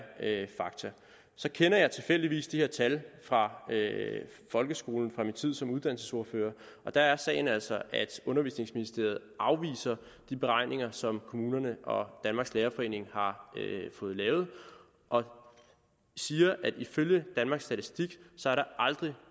fakta så kender jeg tilfældigvis de her tal fra folkeskolen fra min tid som uddannelsesordfører og der er sagen altså at undervisningsministeriet afviser de beregninger som kommunerne og danmarks lærerforening har fået lavet og siger at der ifølge danmarks statistik aldrig